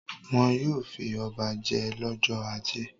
Wọn yóò fi ọba jẹ lọ́jọ́ ajé.